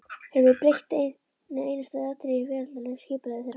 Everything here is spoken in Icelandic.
Höfum við breytt einu einasta atriði í veraldlegu skipulagi þeirra?